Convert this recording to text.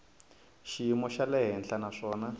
xiyimo xa le henhla naswona